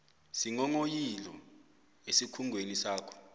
iinghonghoyilo esikhungweni sakho